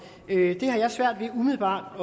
det har jeg umiddelbart